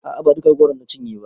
A'a ba duka goron na cinye ba